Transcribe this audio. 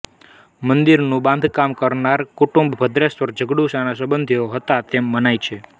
મંદિરનું બાંધકાર કરનાર કુટુંબ ભદ્રેસરના જગડુશાના સંબંધીઓ હતા એમ મનાય છે